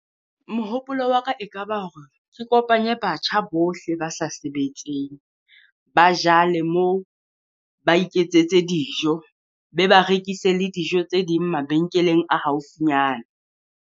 Mohopolo wa ka ekaba hore ke kopanye batjha bohle ba sa sebetseng. Ba jale moo, ba iketsetse dijo, be ba rekise le dijo tse ding mabenkeleng a haufinyana.